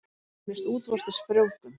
Það nefnist útvortis frjóvgun.